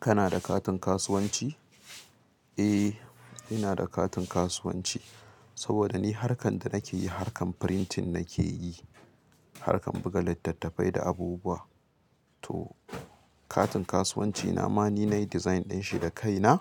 Kana da katin kasuwanci? Ee in na da katin kasuwanci. Saboda ni harkan ta nake yi, harkan printing nakeyi, harkan buga lyitattafai da wasu abubuwa to katin kasuwancina ma ni na yi design ɗin shi da kai na